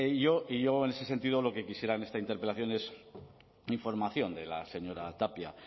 y yo en ese sentido lo que quisiera en esta interpelación es información de la señora tapia